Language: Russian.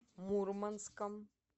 мурманском